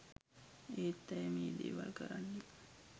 ඒත් ඇය මේ දෙවල් කරන්නේ